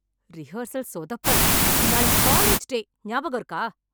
Rehearsal சொதப்பல். நாளைக்கு college day. ஞாபகம் இருக்கா?